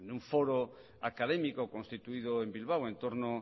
un foro académico constituido en bilbao en torno